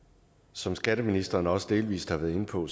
som skatteministeren også delvis har været inde på